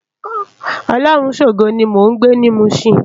Olorunshogo ni mó n gbé ni Mushin